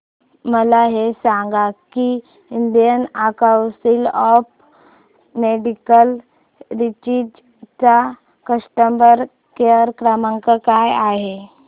मला हे सांग की Indian council of medical research चा कस्टमर केअर क्रमांक काय आहे